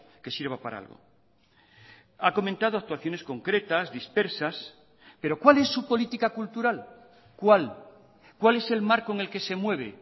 que sirva para algo ha comentado actuaciones concretas dispersas pero cuál es su política cultural cuál cuál es el marco en el que se mueve